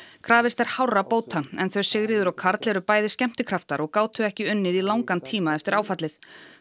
krafist er hárra bóta en þau Sigríður og Karl eru bæði skemmtikraftar og gátu ekki unnið í langan tíma eftir áfallið